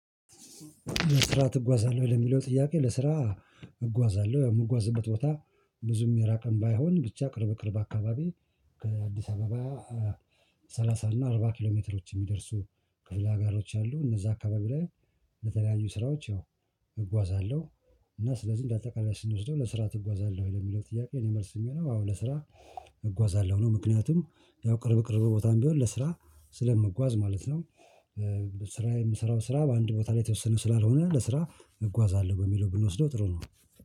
ለስራ እጓዛለሁ ለሚለው ጥያቄ ለስራ እጓዛለሁ የምጓዝበት ቦታ ብዙም የራቀም ባይሆን ብቻ ቅርብ ቅርብ አካባቢ ከአዲስ አበባ ሰላሳ እና አርባ ኪሎ ሜትሮች የሚደርሱ ክፍለ አጋሮች አሉ እነዛ አካባቢ ላይ ለተለያዩ ስራዎች ያው እጓዛለሁ እና ስለዚህ እንደ አጠቃላይ ስንወስደው ለስራ ትጓዛለህ ለሚለው ጥያቄ እኔ መልስ የሚሆነው አዎ ለስራ እጓዛለሁ ነው ምክንያቱም ያው ቅርብ ቅርብ ቦታም ቢሆን ለስራ ስለምጓዝ ማለት ነው። ስራ የምሰራው ስራ በአንድ ቦታ ላይ የተወሰነ ስላልሆነ ለስራ እጓዛለሁ በሚለው ብንወስደው ጥሩ ነው